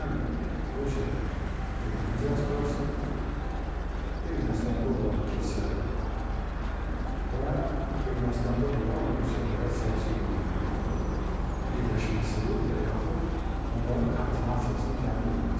Həm Rusiyada erməni diasporası, Ermənistanda olan kilsə və Ermənistanda olan rusiyapərəst siyasi qüvvələrin birləşməsi və yaxud onların koordinasiyasının təmin edilməsidir.